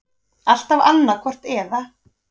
Alltaf annaðhvort eða.